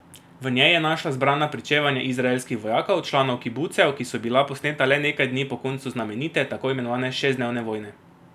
V njej je našla zbrana pričevanja izraelskih vojakov, članov kibucev, ki so bila posneta le nekaj dni po koncu znamenite, tako imenovane šestdnevne vojne.